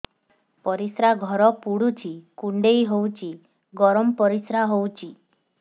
ପରିସ୍ରା ଘର ପୁଡୁଚି କୁଣ୍ଡେଇ ହଉଚି ଗରମ ପରିସ୍ରା ହଉଚି